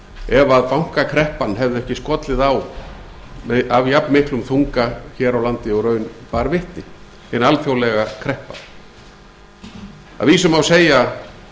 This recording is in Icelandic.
ef bankakreppan hefði ekki skollið á af jafnmiklum duga hér á landi og raun bar vitni hin alþjóðlega kreppa að vísu má segja